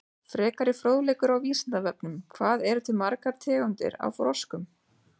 Frekari fróðleikur á Vísindavefnum: Hvað eru til margar tegundir af froskum?